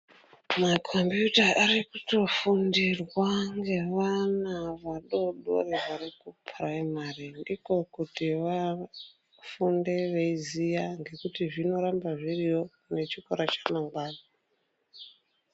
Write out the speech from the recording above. Makombiyuta arikutofundirwa ngevana vadodori varikupuraimari ndiko kuti vafunde veiziya ngekuti zvinoramba zviriyo nechikora chamangwani.